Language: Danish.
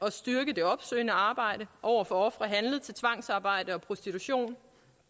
at styrke det opsøgende arbejde over for ofre handlet til tvangsarbejde og prostitution